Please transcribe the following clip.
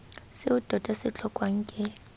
seo tota se tlhokwang ke